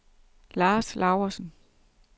Lars Laursen